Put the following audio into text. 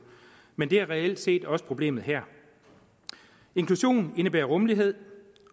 men det er reelt set også problemet her inklusion indebærer rummelighed